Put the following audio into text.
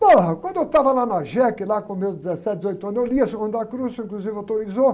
quando eu estava lá na jéqui, lá com meus dezessete, dezoito anos, eu lia o San Juan de la Cruz, o senhor, inclusive, autorizou.